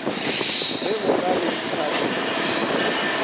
ge go na le ditlhatlošo